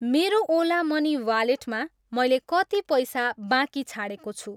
मेरो ओला मनी वालेटमा मैले कति पैसा बाँकी छाडेको छु?